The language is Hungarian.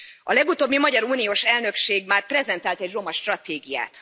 A legutóbbi magyar uniós elnökség már prezentált egy romastratégiát.